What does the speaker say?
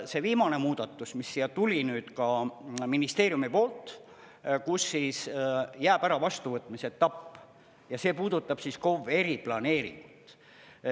See viimane muudatus, mis siia tuli ka ministeeriumi poolt, kus jääb ära vastuvõtmise etapp ja see puudutab KOV eriplaneeringut.